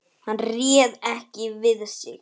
Hann réð ekki við sig.